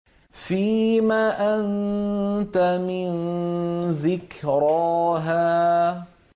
فِيمَ أَنتَ مِن ذِكْرَاهَا